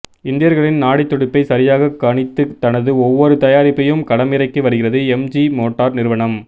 இந்தியர்களின் நாடித் துடிப்பை சரியாக கணித்து தனது ஒவ்வொரு தயாரிப்பையும் களமிறக்கி வருகிறது எம்ஜி மோட்டார் நிறுவனம்